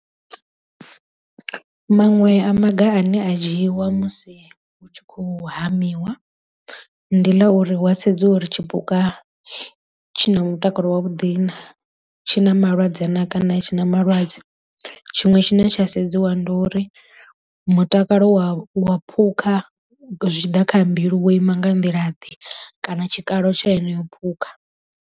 Maṅwe a maga ane a dzhiiwa musi hu tshi khou hamiwa ndi ḽa uri wa sedziwa uri tshipuka tshi na mutakalo wavhuḓi na tshi na malwadze na kana a tshi na malwadze. Tshiṅwe tshine tsha sedziwa ndi uri mutakalo wa wa phukha zwi tshi ḓa kha mbilu wo ima nga nḓila ḓe kana tshikalo tsha yeneyo phukha.